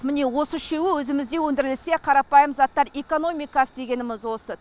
міне осы үшеуі өзімізде өндірілсе қарапайым заттар экономикасы дегеніміз осы